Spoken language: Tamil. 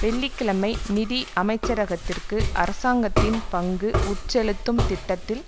வெள்ளி கிழமை நிதி அமைச்சரகத்திற்கு அரசாங்கத்தின் பங்கு உட்செலுத்தும் திட்டத்தில்